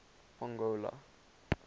pongola